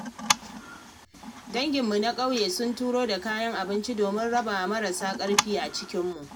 Danginmu na ƙauye sun turo da kayan abinci domin rabawa marasa ƙarfi a cikinmu.